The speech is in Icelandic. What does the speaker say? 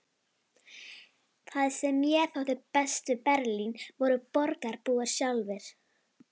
Það sem mér þótti best við Berlín voru borgarbúar sjálfir.